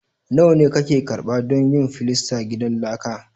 Nawa ne kake karɓa don yin filastan gidan laka?